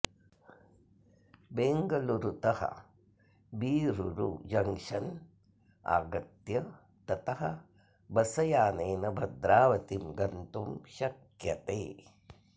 बेङगलूरुतः Birur junction आगत्य ततः bus यानेन भद्रावतीं गन्तुं शक्यते